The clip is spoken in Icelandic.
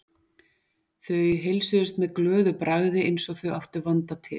Þau heilsuðust með glöðu bragði eins og þau áttu vanda til.